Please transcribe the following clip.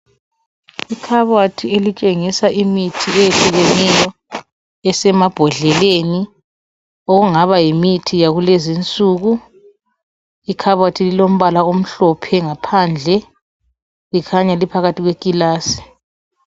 Ikhabothi elitshengisa imithi eyehlukeneyo esemambodlelen okungaba yimithi yakulezinsuku. Ikhabothi lilombala omhlophe ngaphandle. Likhanya liphakathi kwekilasi.